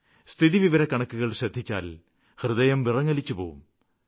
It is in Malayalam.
സ്ഥിതിവിവരക്കണക്കുകള് ശ്രദ്ധിച്ചാല് ഹൃദയം വിറങ്ങലിച്ചുപോകും